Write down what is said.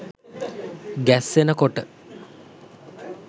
ගැස්සෙන කොට